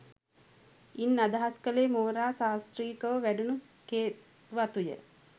ඉන් අදහස් කළේ මෝරා සශ්‍රීකව වැඩුණු කෙත්වතුය